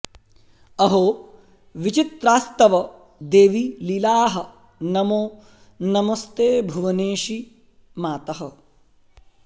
अहो विचित्रास्तव देवि लीलाः नमो नमस्ते भुवनेशि मातः